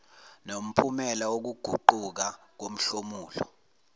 nomphumela wokuguquka komhlomulo